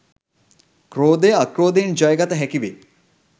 ක්‍රෝධය අක්‍රෝධයෙන් ජය ගත හැකිවේ.